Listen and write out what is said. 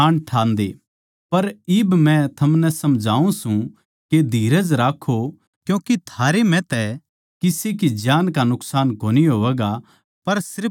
पर इब मै थमनै समझाऊँ सूं के धीरज राक्खो क्यूँके थम म्ह तै किसे की जान का नुकसान कोनी होवैगा पर सिर्फ जहाज की